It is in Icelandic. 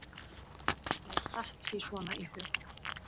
Mér datt sí svona í hug.